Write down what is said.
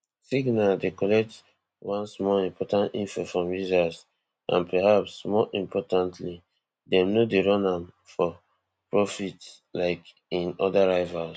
signal dey collect only small important info from users and perhaps more importantly dem no dey run am for profit like im oda rivals